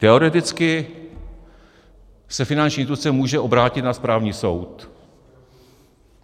Teoreticky se finanční instituce může obrátit na správní soud.